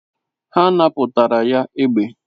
Ha napụtara ya egbe